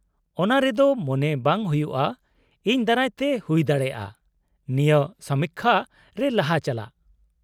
-ᱚᱱᱟ ᱨᱮᱫᱚ, ᱢᱚᱱᱮ ᱵᱟᱝ ᱦᱩᱭᱩᱜᱼᱟ ᱤᱧ ᱫᱟᱨᱟᱭᱛᱮ ᱦᱩᱭ ᱫᱟᱲᱮᱭᱟᱜᱼᱟ, ᱱᱤᱭᱟᱹ ᱥᱚᱢᱤᱠᱠᱷᱟ ᱨᱮ ᱞᱟᱦᱟ ᱪᱟᱞᱟᱜ ᱾